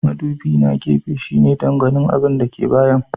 Mudubi na gefe shine don ganin abin da ke bayan.